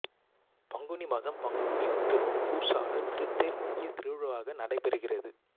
பங்குனி மாதம் பங்குனி உத்திரம் பூசாட்டுதல் திருத்தேர் முக்கிய திருவிழாவாக நடைபெறுகிறது